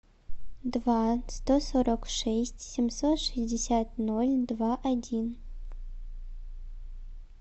два сто сорок шесть семьсот шестьдесят ноль два один